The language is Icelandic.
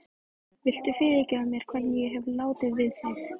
Frammi bíður ungur tenórsöngvari, Gunnar Guðbjörnsson.